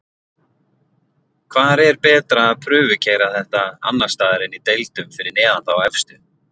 Hvar er betra að prufukeyra þetta annarsstaðar en í deildum fyrir neðan þá efstu??